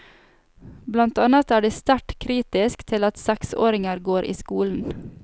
Blant annet er de sterkt kritisk til at seksåringer går i skolen.